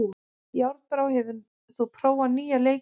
Járnbrá, hefur þú prófað nýja leikinn?